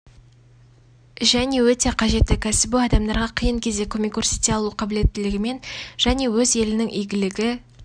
және өте қажетті кәсібі адамдарға қиын кезде көмек көрсете алу қабілеттілігімен және өз елінің игілігі